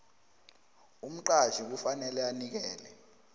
umqatjhi kufanele anikele